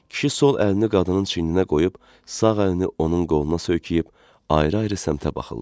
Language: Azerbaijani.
Kişi sol əlini qadının çiyninə qoyub, sağ əlini onun qoluna söykəyib ayrı-ayrı səmtə baxırlar.